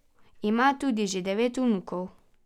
Ima tudi že devet vnukov.